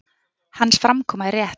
Hans framkoma er rétt.